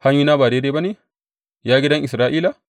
Hanyoyina ba daidai ba ne, ya gidan Isra’ila?